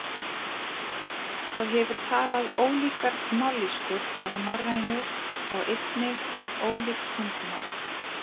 Það hefur talað ólíkar mállýskur af norrænu og einnig ólík tungumál.